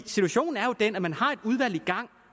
situationen er jo den at man har et udvalg i gang